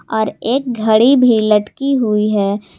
और एक घड़ी भी लटकी हुई है।